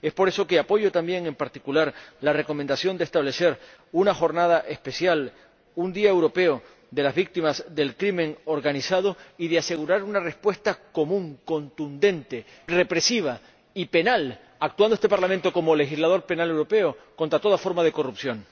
Por eso apoyo también, en particular, la recomendación de establecer una jornada especial, un día europeo de las víctimas de la delincuencia organizada, y de asegurar una respuesta común, contundente, represiva y penal, actuando este Parlamento como legislador penal europeo contra toda forma de corrupción.